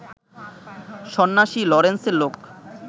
সন্ন্যাসী লরেন্সের লোক